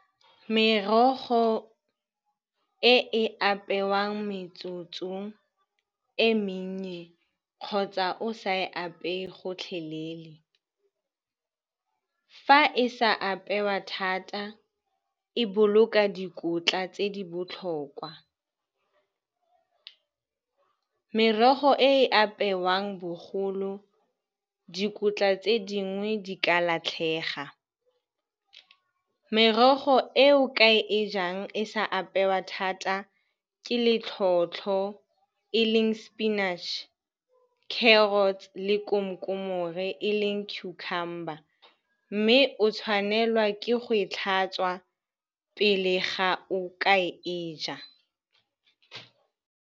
Merogo e e apewang metsotsong e mennye kgotsa o sa e apeye gotlhelele, fa e sa apewa thata e boloka dikotla tse di botlhokwa. Merogo e e apewang bogolo, dikotla tse dingwe di ka latlhega. Merogo eo ka e jang e sa apewa thata ke le tlhotlho, e leng sepinatšhe, carrots le komkomore, cucumber, mme o tshwanelwa ke go e tlhatswa pele ga o ka e ja.